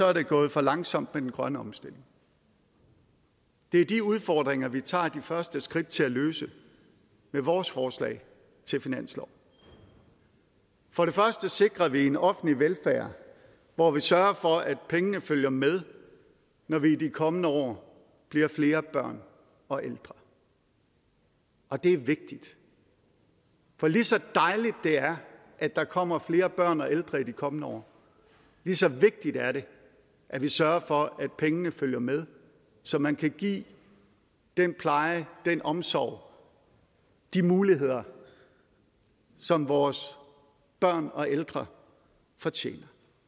er det gået for langsomt med den grønne omstilling det er de udfordringer vi tager de første skridt til at løse med vores forslag til finanslov for det første sikrer vi en offentlig velfærd hvor vi sørger for at pengene følger med når der i de kommende år bliver flere børn og ældre og det er vigtigt for lige så dejligt det er at der kommer flere børn og ældre i de kommende år lige så vigtigt er det at vi sørger for at pengene følger med så man kan give den pleje den omsorg og de muligheder som vores børn og ældre fortjener